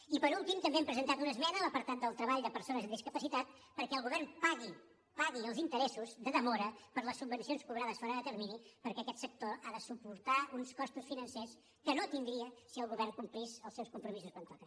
i per últim també hem presentat una esmena a l’apartat del treball de persones amb discapacitat perquè el govern pagui pagui els interessos de demora per a les subvencions cobrades fora de termini perquè aquest sector ha de suportar uns costos financers que no tindria si el govern complís els seus compromisos quan toca